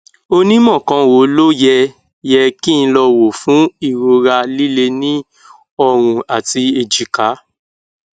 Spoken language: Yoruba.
onímọ kan wo ló yẹ yẹ kí n lọ wò fún ìrora líle ní ọrùn àti èjìká